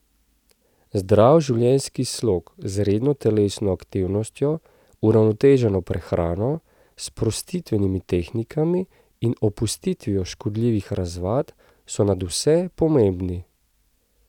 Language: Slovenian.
Zdrav življenjski slog z redno telesno aktivnostjo, uravnoteženo prehrano, sprostitvenimi tehnikami in opustitvijo škodljivih razvad so nadvse pomembni.